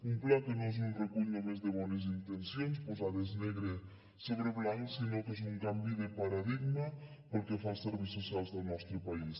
un pla que no és un recull només de bones intencions posades negre sobre blanc sinó que és un canvi de paradigma pel que fa als serveis socials del nostre país